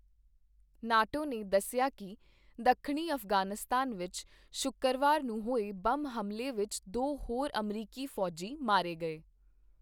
NATO ਨੇ ਦੱਸਿਆ ਕੀ ਦੱਖਣੀ ਅਫ਼ਗ਼ਾਨਿਸਤਾਨ ਵਿੱਚ ਸ਼ੁੱਕਰਵਾਰ ਨੂੰ ਹੋਏ ਬੰਬ ਹਮਲੇ ਵਿੱਚ ਦੋ ਹੋਰ ਅਮਰੀਕੀ ਫ਼ੌਜੀ ਮਾਰੇ ਗਏ।